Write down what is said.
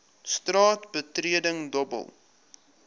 straat betreding dobbel